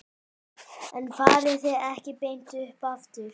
En farið þið ekki beint upp aftur?